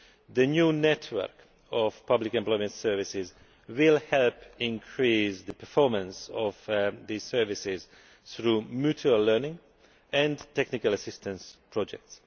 The new network of public employment services will help increase the performance of these services through mutual learning and technical assistance projects.